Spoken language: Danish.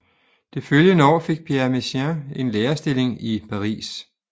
Det følgende år fik Pierre Messiaen en lærerstilling i Paris